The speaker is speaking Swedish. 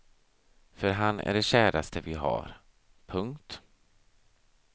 För han är det käraste vi har. punkt